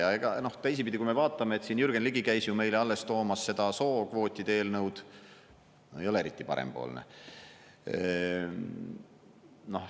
Ja ega teisipidi, kui me vaatame, et siin Jürgen Ligi käis ju meile alles toomas seda sookvootide eelnõu – ei ole eriti parempoolne.